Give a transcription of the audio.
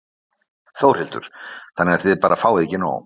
Þórhildur: Þannig að þið bara fáið ekki nóg?